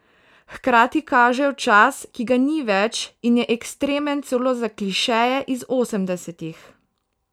Hkrati kažejo čas, ki ga ni več in je ekstremen celo za klišeje iz osemdesetih.